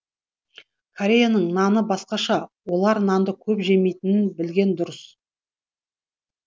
кореяның наны басқаша олар нанды көп жемейтінін білген дұрыс